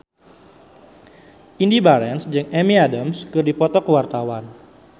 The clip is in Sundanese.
Indy Barens jeung Amy Adams keur dipoto ku wartawan